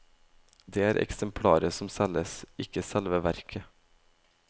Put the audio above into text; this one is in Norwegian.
Det er eksemplaret som selges, ikke selve verket.